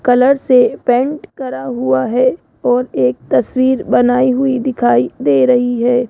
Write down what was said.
Colour से paint करा हुआ है और एक तस्वीर बनाई हुई दिखाई दे रही है।